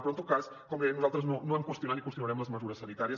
però en tot cas com dèiem nosaltres no hem qüestionant ni qüestionarem les mesures sanitàries